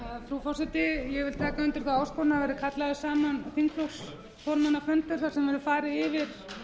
frú forseti ég vil taka undir þá áskorun að kallaður verði saman þingflokksformannafundur þar sem farið verði yfir